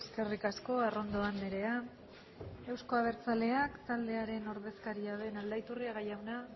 eskerrik asko arrondo andrea euzko abertzaleak taldearen ordezkaria den aldaiturriaga jauna